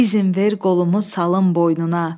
İzin ver qolumu salım boynuna.